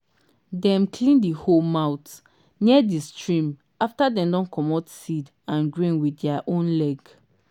dem clean the hoe mouth near the stream after dem don comot seed and grain with their own leg.